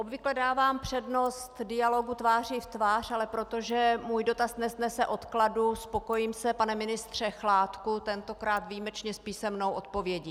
Obvykle dávám přednost dialogu tváří v tvář, ale protože můj dotaz nesnese odkladu, spokojím se, pane ministře Chládku, tentokrát výjimečně s písemnou odpovědí.